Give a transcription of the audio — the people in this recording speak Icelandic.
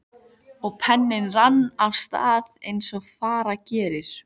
Og penninn rann af stað eins og fara gerir.